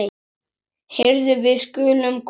Heyrðu, við skulum koma.